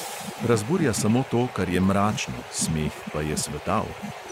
Razburja samo to, kar je mračno, smeh pa je svetal ...